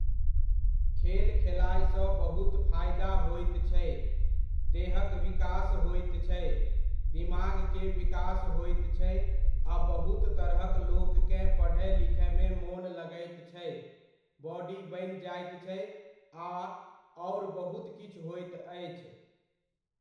खेल खेलाय सऽ बहुत फायदा होइत छै, देहक विकास होइत छै, दिमागके विकास होइत छै आ बहुत तरहक लोककेँ पढय लिखयमे मोन लगैत छै, बॉडी बनि जाइत छै, आ आओर बहुत किछु होइत अछि।